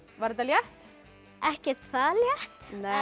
var þetta létt ekkert það létt